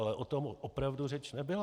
Ale o tom opravdu řeč nebyla.